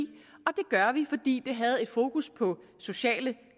og vi fordi det havde et fokus på sociale